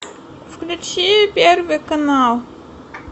включи первый канал